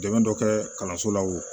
Dɛmɛ dɔ kɛ kalanso la o